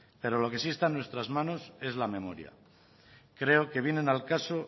pero lo que sí están en nuestras manos es la memoria creo que vienen al caso